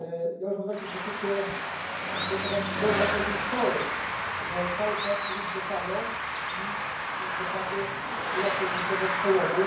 Ja już mam takie poczucie, że to jest jakaś że cały czas mówimy to samo i w zasadzie nie ma tutaj żadnego przełomu.